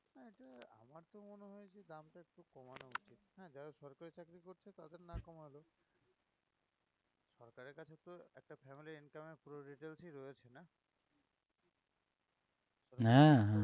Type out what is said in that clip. হ্যাঁ হ্যাঁ